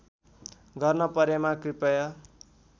गर्न परेमा कृपया